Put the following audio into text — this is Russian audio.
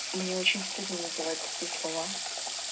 мне очень стыдно называть такие слова